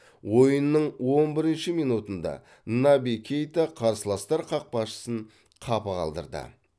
ойынның он бірінші минутында наби кейта қарсыластар қақпашысын қапы қалдырды